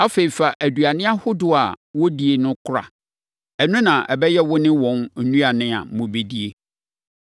Afei, fa nnuane ahodoɔ a, wɔdie na kora. Ɛno na ɛbɛyɛ wo ne wɔn nnuane a mobɛdi.”